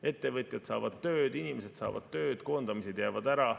Ettevõtjad saavad tööd, inimesed saavad tööd, koondamised jäävad ära.